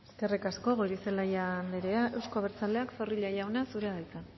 eskerrik asko goirizelaia anderea euzko abertzaleak zorrilla jauna zurea da hitza